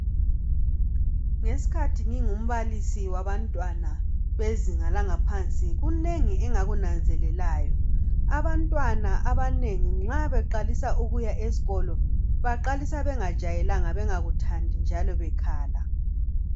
Ngesikhathi ngingumbalisi wabantwana wezinga langaphansi .Kunengi engakunanzelelayo. Abantwana abanengi nxa beqalisa isikolo baqalisa bengajayelanga bengkuthandi njalo bekhala.